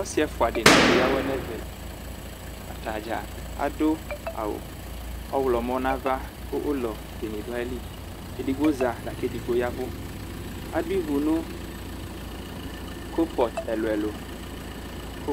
Ɔsi ɛfʋa dini keya awʋɛ nʋ ɛvɛ atdza adʋ awʋ ɔwlɔmɔ nʋ ava ʋlɔ ebene dʋ ayili edigbo za lakʋ edigno ya ɛvʋ adu ivi nʋ kopɔt ɛlʋ ɛlʋ ɛlʋ kʋ